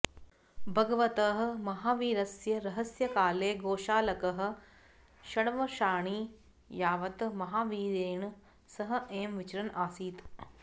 भगवतः महावीरस्य रहस्यकाले गोशालकः षड्वर्षाणि यावत् महावीरेण सह एव विचरन् आसीत्